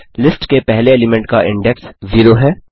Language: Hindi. लिस्ट के पहले एलीमेंट का इंडेक्स 0 है